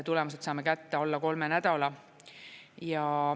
Tulemused saame kätte alla kolme nädala.